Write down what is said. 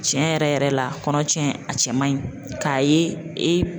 Tiɲɛ yɛrɛ yɛrɛ la kɔnɔ tiɲɛ a cɛ man ɲi k'a ye e